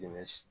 Dɛmɛ si